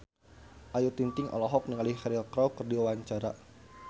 Ayu Ting-ting olohok ningali Cheryl Crow keur diwawancara